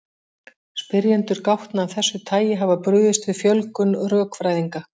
Spyrjendur gátna af þessu tagi hafa brugðist við fjölgun rökfræðinga.